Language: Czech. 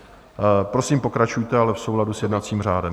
Prosím, pokračujte, ale v souladu s jednacím řádem.